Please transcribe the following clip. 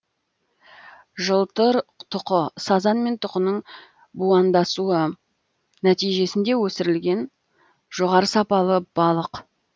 жылтыр тұқы сазан мен тұқының будандасуы нәтижесінде өсірілген жоғары сапалы балық